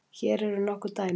Hér eru nokkur dæmi